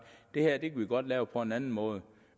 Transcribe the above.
det her kan vi godt lave på en anden måde